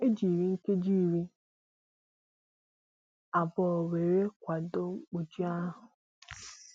E jiri nkeji ịrị abụọ wéré kwado mkpu jì ahụ